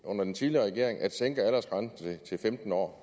under den tidligere regering at sænke aldersgrænsen til femten år